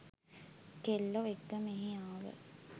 කෙල්ලො එක්ක මෙහේ ආව